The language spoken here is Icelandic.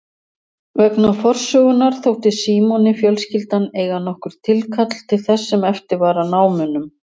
Vegna forsögunnar þótti Símoni fjölskyldan eiga nokkurt tilkall til þess sem eftir var af námunum.